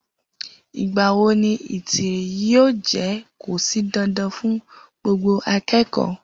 Igbàwó ní Itírì yio jẹ kọsí dandan fún gbogbo àkẹkọ?